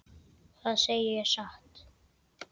Það segi ég satt.